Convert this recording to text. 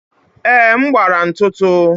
Èé, m gbara ntụtụ